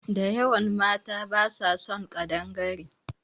Da yawan mata basa son ƙadangare